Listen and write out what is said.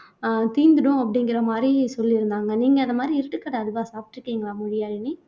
அஹ் தீர்ந்துடும் அப்படிங்கிற மாதிரி சொல்லி இருந்தாங்க நீங்க அந்த மாதிரி இருட்டுக்கடை அல்வா சாப்பிட்டு இருக்கீங்களா மொழியாழினி